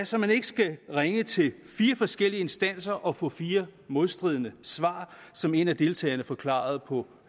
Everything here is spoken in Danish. så man ikke skal ringe til fire forskellige instanser og få fire modstridende svar som en af deltagerne forklarede på